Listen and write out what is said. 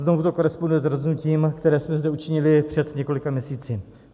Znovu to koresponduje s rozhodnutím, které jsme zde učinili před několika měsíci.